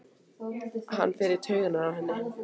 Hann fer í taugarnar á henni.